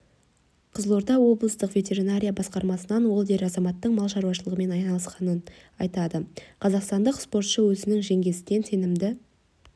қызылорда облыстық ветеринария басқармасынан ол ер азаматтың мал шаруашылығымен айналысқанын айтады қазақстандық спортшы өзінің жеңгеніне сенімді